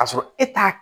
K'a sɔrɔ e t'a